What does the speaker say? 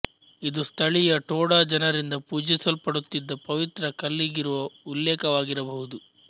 ಇದು ಸ್ಥಳೀಯ ಟೋಡ ಜನರಿಂದ ಪೂಜಿಸಲ್ಪಡುತ್ತಿದ್ದ ಪವಿತ್ರ ಕಲ್ಲಿಗಿರುವ ಉಲ್ಲೇಖವಾಗಿರಬಹುದು